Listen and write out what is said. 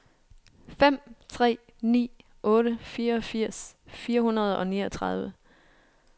fem tre ni otte fireogfirs fire hundrede og niogtredive